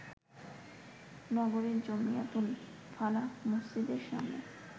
নগরীর জমিয়তুল ফালাহ মসজিদের সামনে